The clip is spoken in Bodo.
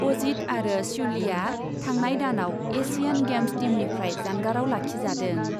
अजित आरो श्युलीआ थांनाय दानआव एसियान गेम्स टीमनिफ्राय जानगारआव लाखिजादों।